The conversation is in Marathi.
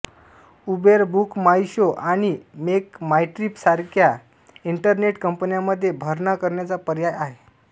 उबेर बुकमाईशो आणि मेकमाईट्रिप सारख्या इंटरनेट कंपन्यांमध्ये भरणा करण्याचा पर्याय आहे